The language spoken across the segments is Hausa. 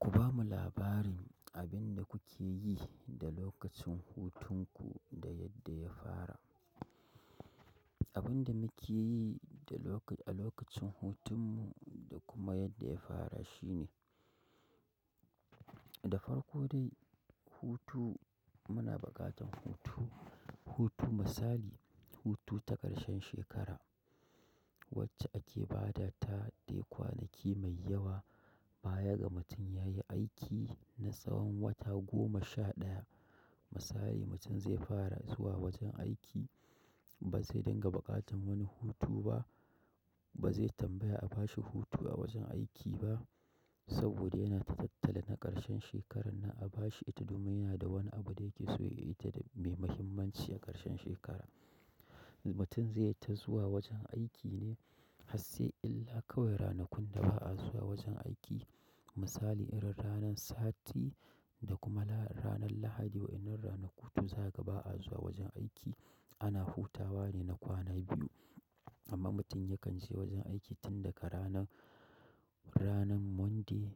Ku bamu labarin abin da kuke yi da lokacin hutunku da yadda ya fara. Abin da muke yi da a lokacin hutun mu da kuma yadda ya fara shine, da farko dai hutu muna buƙatan hutu. Hutu misali, hutu ta ƙarshen shekara wacce ake ba da ta dai kwanaki mai yawa baya ga mutum yayi aiki na tsawon wata goma sha ɗaya. Misali mutum zai fara zuwa wajen aiki ba zai dinga buƙatan wani hutu ba, ba zai tambaya a bashi hutu a wajen aiki ba saboda yana tattali na ƙarshen shekarar na a bashi ita domin yana da wani abu da yake so ya yi ita da mai muhimmanci a ƙarshen shekara. Mutum zai ta zuwa wajen aiki ne hasai illa kawai ranakun da ba'a zuwa wajen aiki. Misali irin ranan sati da kuma ranan lahadi wa'inan ranaku za'a ga ba a zuwa wajen aiki ana hutawa ne na kwana biyu. Amma mutum yakan je wajen aiki tun daga ranan, ranan Monday,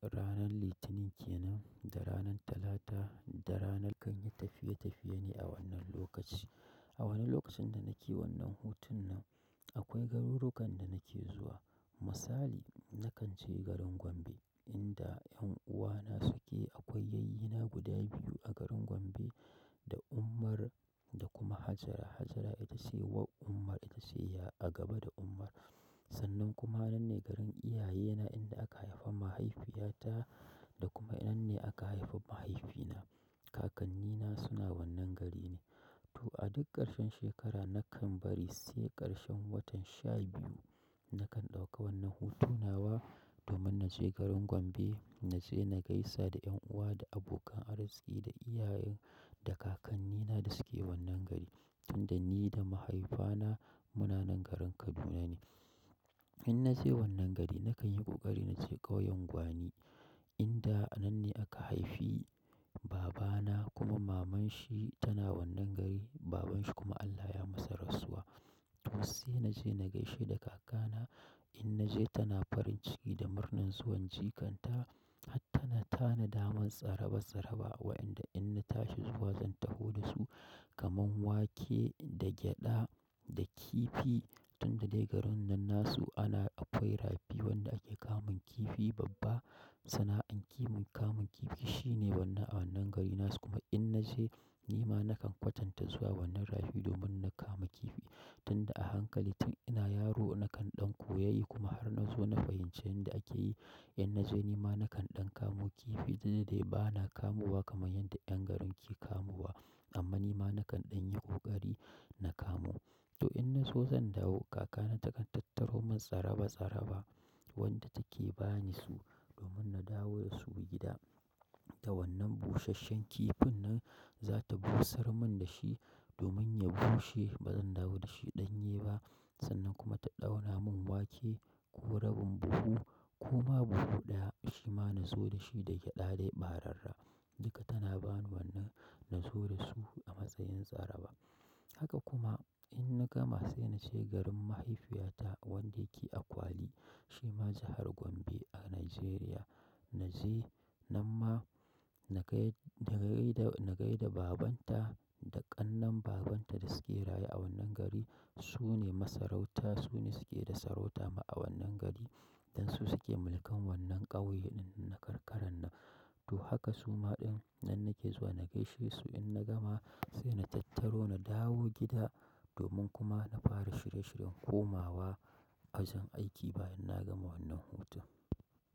ranan litinin kenan da ranan talata da ranar. Kanyi tafiye-tafiye ne a wannan lokaci. A wannan lokacin da nake wannan hutun nan akwai garurukan da nake zuwa. Misali nakan je garin Gombe inda 'yan uwana suke. Akwai yayyina guda biyu a garin Gombe da Umar da kuma Hajara. Hajara ita ce uwar Umar ita ce ya a gaba da Umar. Sannan kuma nan ne garin iyayena inda aka haifa mahaifiyata da kuma inda ne aka haifi mahaifina. Kakannina suna wannan gari ne. To a duk ƙarshen shekara nakan bari sai ƙarshen watan sha biyu nakan ɗauka wannan hutun nawa domin naje garin Gombe. Naje na gaisa da 'yan uwa da abokan arziqi da iyayen da kakannina da suke wannan gari tunda ni da mahaifana muna nan garin Kaduna ne. Ina naje wannan gari nakan yi ƙoƙari naje kauyan gwani inda anan ne aka haifi babana kuma maman shi tana wannan gari. Babanshi kuma Allah ya masa rasuwa. To sai naje na gaishe da kakana. In naje tana farin ciki da murnar zuwan jikan ta har tana tanadaman tsaraba-tsaraba wa inda in na tashi zuwa zan taho da su kamar wake da gyaɗa da kifi tunda dai garin nan nasu ana akwai rafi wanda ake kamun kifi babba. Sana'an kiman kamun kifi shine wannan a wannan garin nasu kuma in naje nima nakan kwatanta zuwa wannan rafi domin na kama kifi tunda a hankali tun ina yaro nakan ɗan koyayi kuma har na zo na fahimci inda ake yi. In naje nima nakan ɗan kamo kifi tunda dai bana kamowa kamar yadda 'yan garin ke kamowa amma nima nakan ɗan yi ƙoƙari na kamu. To in na so zan dawo, kakana takan tattaro mun tsaraba-tsaraba wanda take bani su domin na dawo da su gida. Da wannan busasshen kifin nan za ta busar mun dashi domin ya bushe bazan dawo dashi ɗanye ba sannan kuma ta ɗaura mun wake ko rabin buhu koma buhu ɗaya shi ma na zo dashi da gyaɗa dai ɓararra. Duka tana bani wannan na zo da su a matsayin tsaraba. Haka kuma in na gama sai naje garin mahaifiyata wanda yake Akwali shi ma jahar Gombe a Najeriya. Naje nan ma na gaida babanta da ƙannan babanta da suke raye a wannan gari. Su ne masarauta, su ne suke da sarauta ma a wannan gari dan su suke mulkan wannan ƙauye ɗin na karkaran nan. To haka suma ɗin nan nake zuwa na gaishe su in na gama sai na tattaro na dawo gida domin kuma na fara shirye-shiryen komawa wajen aiki bayan na gama wannan hutu.